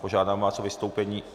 Požádám vás o vystoupení.